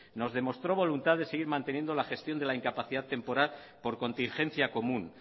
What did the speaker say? nos demostró voluntad de seguir manteniendo la gestión de la incapacidad temporal por contingencia común